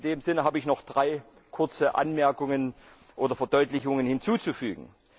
In dem Sinne habe ich noch drei kurze Anmerkungen oder Verdeutlichungen hinzuzufügen.